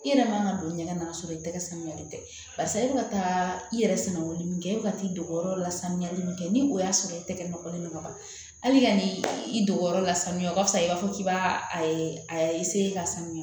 I yɛrɛ man ka don ɲɛgɛn na ka sɔrɔ i tɛgɛ samiyalen tɛ barisa e bɛ ka taa i yɛrɛ sɛnɛbɔlen min kɛ e bɛ ka t'i dogo yɔrɔ la sanuyalen min kɛ ni o y'a sɔrɔ e tɛgɛ nɔlen don ka ban hali ni i dogo la samiya ka fisa i b'a fɔ k'i b'a a ka sanuya